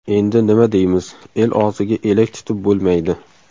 Endi nima deymiz, el og‘ziga elak tutib bo‘lmaydi.